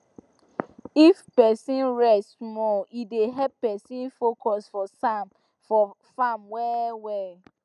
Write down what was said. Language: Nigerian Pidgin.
if person rest small e dey help person focus for farm well well